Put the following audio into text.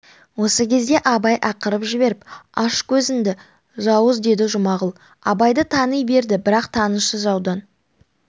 осы кезде абай ақырып жіберіп аш көзіңді жауыз деді жұмағұл абайды тани берді бірақ танысы жаудан